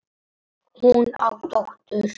Hún á dóttur.